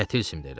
Nə tilsimdir elə?